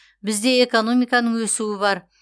бізде экономиканың өсуі бар